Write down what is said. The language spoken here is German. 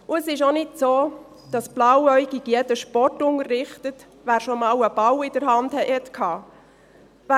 Und es ist auch nicht so, dass blauäugig jeder, der schon einmal einen Ball in der Hand hatte, Sport unterrichtet.